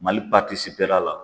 Mali r'a la.